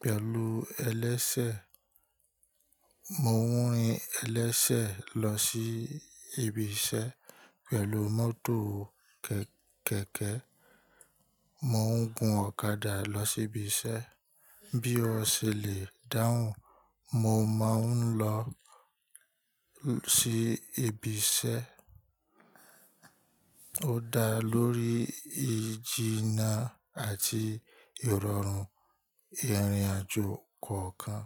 pẹ̀lú ẹlẹ́sẹ̀, mo ń rin ẹlẹ́sẹ̀ lọ sí ibi iṣẹ́, pẹ̀lú mọ́tò kẹ̀kẹ́, mo ń gun ọ̀kadà lọ sí ibi iṣẹ́. Bí o ṣe lè dáhùn, mo máa ń lọ sí ibi iṣẹ́ ó dá lórí ìjìnnà àti ìrọ̀rùn ìrìn àjò kọ̀ọ̀kan.